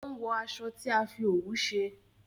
o n wo aṣọ tí a fí òwú ṣe.